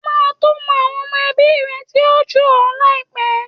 O máa to mọ àwọn ọmọ ẹbí rẹ̀ tí ó jù ọ láìpẹ́.